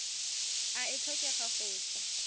e a tlhokega go tswa